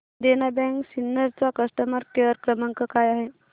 देना bank Sinnar चा customer care क्रमांक काय आहे